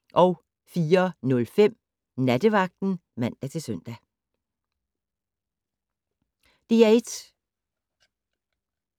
DR1